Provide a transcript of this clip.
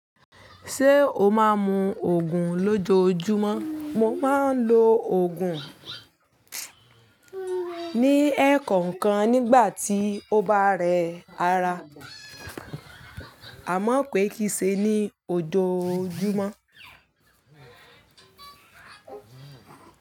Ṣé o máa ń mu Ògùn lójoojúmọ́? Mo máa ń lo òògùn ní ẹ̀ẹ̀kọ̀kan nígbà tí ó bá rẹ ara, àmọ́ pé kìí ṣe ní ojoojúmọ́.